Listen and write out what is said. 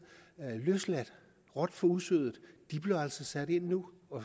løsladt råt for usødet de bliver altså sat ind nu